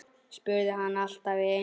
spurði hann allt í einu.